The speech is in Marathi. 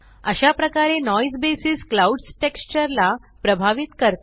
अशा प्रकारे नॉइस बेसिस क्लाउड्स टेक्स्चर ला प्रभावित करते